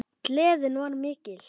Gleðin var mikil.